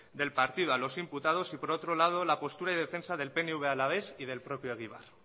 del partido a los imputados y por otro lado la postura y defensa del pnv alavés y del propio egibar